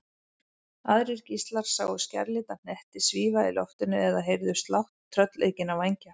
Aðrir gíslar sáu skærlita hnetti svífa í loftinu eða heyrðu slátt tröllaukinna vængja.